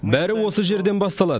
бәрі осы жерден басталады